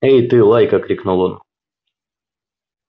эй ты лайка крикнул он